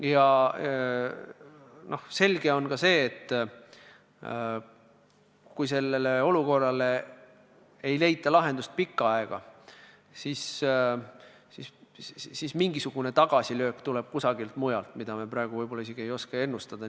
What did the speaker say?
Ja selge on ka see, et kui sellele olukorrale pikka aega lahendust ei leita, siis mingisugune tagasilöök tuleb kusagilt mujalt, mida me praegu ei oska võib-olla isegi ennustada.